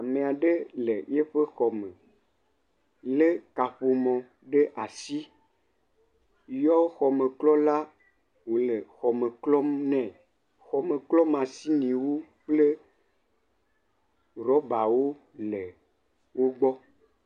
Ame aɖe le eƒe xɔ me lé kaƒomɔ ɖe asi, yɔ xɔmeklɔ la wòle xɔme klɔm nɛ. Xɔme klɔ mashiniwo kple rɔbawo le wo gbɔ.